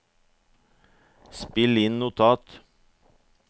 spill inn notat